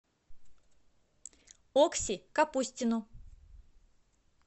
окси капустину